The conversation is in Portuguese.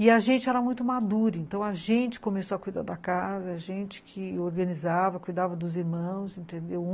E a gente era muito madura, então a gente começou a cuidar da casa, a gente que organizava, cuidava dos irmãos, entendeu?